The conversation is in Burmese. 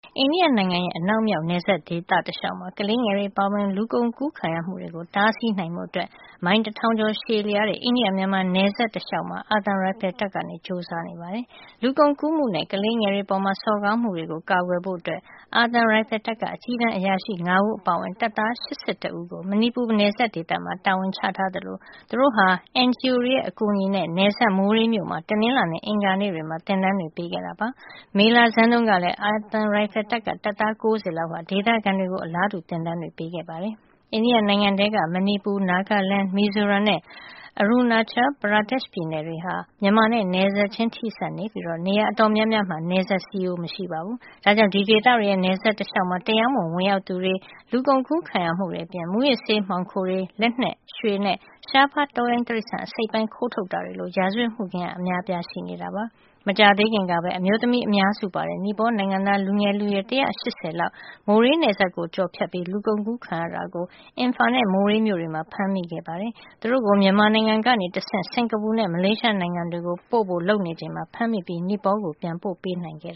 အိန္ဒိယနိုင်ငံရဲ့ အနောက်မြောက် နယ်စပ်ဒေသတလျှောက်မှာ ကလေးငယ်တွေ အပါအဝင် လူကုန်ကူးခံရမှုတွေကို တားဆီးနိုင်ဖို့ မိုင်တထောင်ကျော် ရှည်လျားတဲ့ အိန္ဒိယ- မြန်မာနယ်စပ် တလျှောက်မှာ အာသံရိုင်ဖယ်တပ်က ကြိုးစားနေပါတယ်။ လူကုန်ကူးမှုနဲ့ ကလေးငယ်တွေအပေါ် စော်ကားမှုတွေကို ကာကွယ်ဖို့ အာသံရိုင်ဖယ်တပ်က အကြီးတန်းအရာရှိ ၅ ဦးအပါအဝင် တပ်သား ၈၁ ဦးကို မဏီပူနယ်စပ်ဒေသမှာ တာဝန်ချထားသလို သူတို့ဟာ NGO တွေရဲ့ အကူအညီနဲ့ နယ်စပ် မိုရေးမြို့မှာ တနင်္လာနဲ့ အင်္ဂါနေ့တွေမှာ သင်တန်းတွေ ပေးခဲ့ပါတယ်။ မေလဆန်းတုန်းကလည်း အာသံရိုင်ဖယ်တပ်က တပ်သား ၉၀ လောက်က ဒေသခံတွေကို အလားတူ သင်တန်းတွေ ပေးခဲ့တာပါ။ အိန္ဒိယနိုင်ငံထဲက မဏိပူ၊ Nagaland ၊ မီဇိုရမ်နဲ့ Arunachal Pradesh ပြည်နယ်တွေဟာ မြန်မာနဲ့ နယ်စပ်ချင်း ထိနေပြီး နေရာ အတော်များများမှာ နယ်စပ်စည်းရိုး မရှိပါဘူး။ ဒါကြောင့် ဒီဒေသတွေရဲ့ နယ်စပ်တလျှောက်မှာ တရားမဝင် ဝင်ရောက်သူတွေ၊ လူကုန်ကူးခံရသူတွေအပြင် မူးယစ်ဆေး မှောင်ခိုတွေ၊ လက်နက် ရွှေနဲ့ ရှားပါး တောရိုင်းတိရစ္ဆာန် အစိတ်အပိုင်းခိုးထုတ်တာတွေ လို ရာဇဝတ်မှုခင်း အများအပြား ရှိနေပါတယ်။ မကြာသေးခင်ကပဲ အမျိုးသမီးအများစုပါတဲ့ နီပေါနိုင်ငံသား လူငယ်လူရွယ် ၁၈၀ လောက် မိုရေးနယ်စပ်ကို ကျော်ဖြတ်ပြီး လူကုန် အကူးခံခဲ့ရတာကို အင်ဖါနဲ့ မိုရေးမြို့တွေမှာ ဖမ်းမိခဲ့တာပါ။ သူတို့ကို မြန်မာနိုင်ငံကနေ တဆင့် စင်္ကာပူနဲ့ မလေးရှားနိုင်ငံတွေကို ပို့ဖို့ လုပ်နေချိန်မှာ ဖမ်းမိခဲ့ပြီး နီပေါကို ပြန်ပို့ပေးနိုင်ခဲ့